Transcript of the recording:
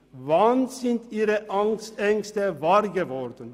Wann sind Ihre Ängste wahr geworden?